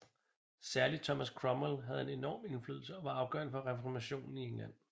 Særlig Thomas Cromwell havde enorm indflydelse og var afgørende for reformationen i England